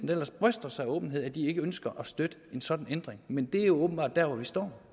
der ellers bryster sig af åbenhed ikke ønsker at støtte en sådan ændring men det er jo åbenbart dér hvor vi står